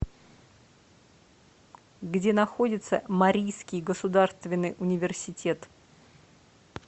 где находится марийский государственный университет